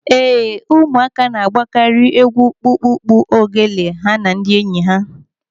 Ee, ụmụaka na-agbakari egwu kpukpukpu ogele ha na ndị enyi ha.